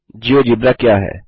GeoGebra क्या है